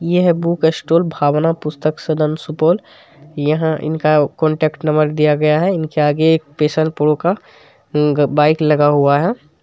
ये है book store Bhavna Pustak Sadan Supaul यहां इनका कॉन्टैक्ट नंबर दिया गया है इनके आगे एक पेशन प्रो का बाइक लगा हुआ है।